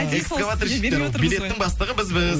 экскаваторщиктер билеттің бастығы бізбіз